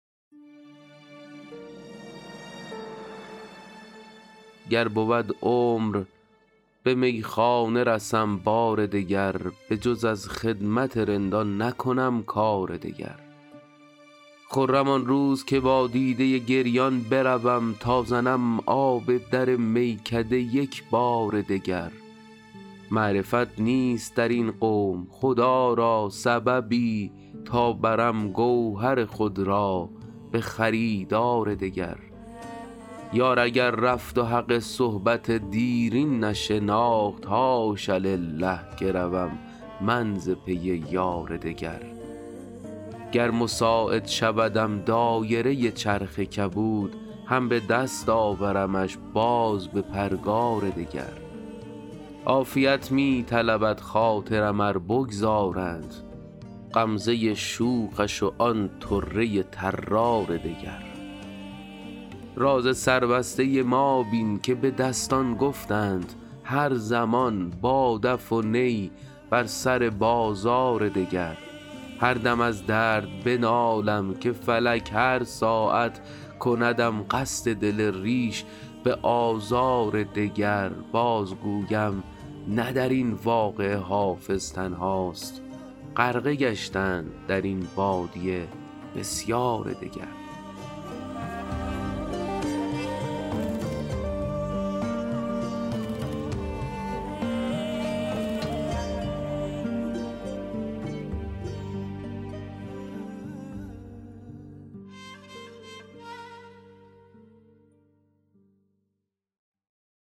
گر بود عمر به میخانه رسم بار دگر بجز از خدمت رندان نکنم کار دگر خرم آن روز که با دیده گریان بروم تا زنم آب در میکده یک بار دگر معرفت نیست در این قوم خدا را سببی تا برم گوهر خود را به خریدار دگر یار اگر رفت و حق صحبت دیرین نشناخت حاش لله که روم من ز پی یار دگر گر مساعد شودم دایره چرخ کبود هم به دست آورمش باز به پرگار دگر عافیت می طلبد خاطرم ار بگذارند غمزه شوخش و آن طره طرار دگر راز سربسته ما بین که به دستان گفتند هر زمان با دف و نی بر سر بازار دگر هر دم از درد بنالم که فلک هر ساعت کندم قصد دل ریش به آزار دگر بازگویم نه در این واقعه حافظ تنهاست غرقه گشتند در این بادیه بسیار دگر